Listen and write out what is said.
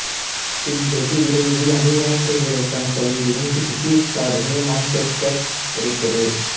பின் வெகு விரைவில் அணிமாற்ற வீரருக்கான தொகையிலும் பிரிட்டிஷ் சாதனையை மான்செஸ்டர் உடைத்தது